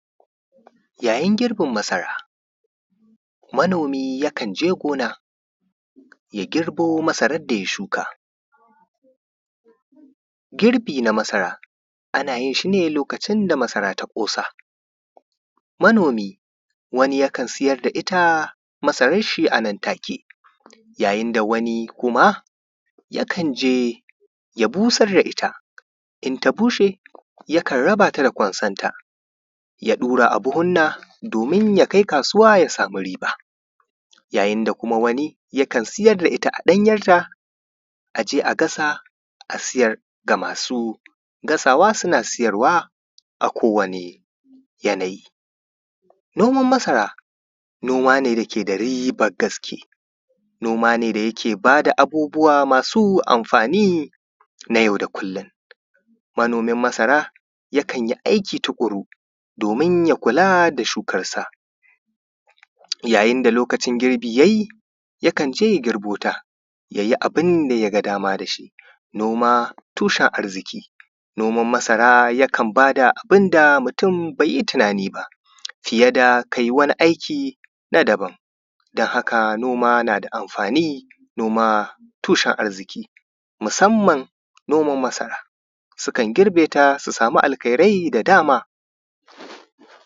yayin girbin masara manomi ya kan je gona ya girbo masaran da ya shuka girbi na masara ana yin shi ne lokacin da masara ta ƙosa manomi wani yakan siyar da ita masaran shi a nan take yayin da wani kuma ya kanje ya busar da ita in ta bushe yakan raba sa da kwanson ta ya ɗura abuhunna domin ya kai kasuwa ya sami riba yayin da kuma wani yakan ya siyar da ita a ɗanyan ta a je a gasa a siyar ga masu gasawa suna siyarwa a kowane yanayi noman masara noma ne da ke da riban gaske noma ne da yake ba da abubbuwa ma su amfani na yau da kullun manomin masara yakan yi aiki tuƙuru domin ya kula da shukarsa yayin da lokacin girbi ya yi yakan je ya girbota ya yi abun da ya ga dama da shi noma tushen arziki noman masara yakan ba da abun da mutum bai yi tunani ba fiye da ka yi wani aikin na daban don haka noma na da amfani noma tushen arziki musanman noman masara sukan girbe ta su sama alkhairai da dama